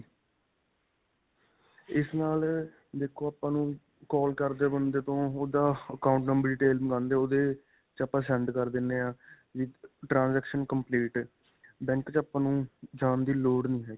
ਇਸ ਨਾਲ ਅਅ ਦੇਖੋ ਆਪਾਂ ਨੂੰ call ਕਰਦੇ ਬੰਦੇ ਤੋਂ ਓਹਦਾ account number detail ਮੰਗਵਾਂਦੇ ਓਹਦੇ ਵਿੱਚ ਆਪਾਂ send ਕਰ ਦਿੰਦੇ ਹਾਂ ਅਅ transaction complete. ਬੈਂਕ 'ਚ ਆਪਾਂ ਨੂੰ ਜਾਣ ਦੀ ਲੋੜ ਨਹੀਂ ਹੈਗੀ.